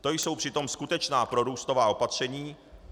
To jsou přitom skutečná prorůstová opatření.